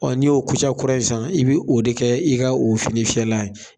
n'i y'o kura ye sisan i bi o de k'i ka o fini fiyɛlan ye.